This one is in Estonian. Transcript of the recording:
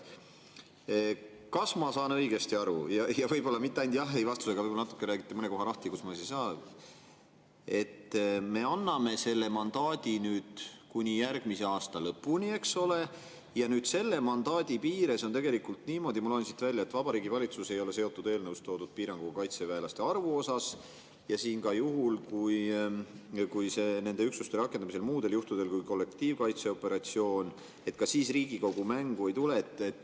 Kas ma saan õigesti aru – ja võib-olla ainult jah/ei-vastusega, vaid räägite mõne koha natuke lahti –, et me anname mandaadi kuni järgmise aasta lõpuni, eks ole, ja nüüd selle mandaadi piires on niimoodi, ma loen siit välja, et Vabariigi Valitsus ei ole seotud eelnõus toodud piiranguga kaitseväelaste arvu osas ja ka juhul, kui neid üksusi rakendatakse muudel juhtudel kui kollektiivkaitseoperatsioonis, Riigikogu mängu ei tule?